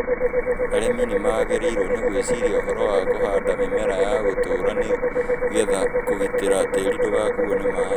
Arĩmi magĩrĩirũo nĩ gwĩciria ũhoro wa kũhanda mĩmera ya gũtũũra nĩ getha kũgitĩra tiri ndũgakuo nĩ maĩ